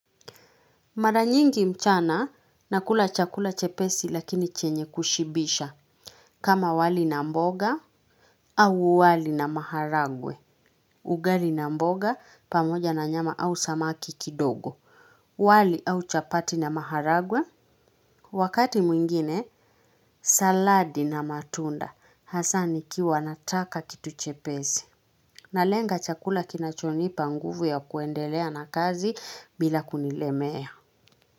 Mara nyingi mchana, nakula chakula chepesi lakini chenye kushibisha. Kama wali na mboga au wali na maharagwe. Ugali na mboga pamoja na nyama au samaki kidogo. Wali au chapati na maharagwe. Wakati mwingine saladi na matunda. Hasa nikiwa nataka kitu chepesi. Nalenga chakula kinachonipa nguvu ya kuendelea na kazi bila kunilemea.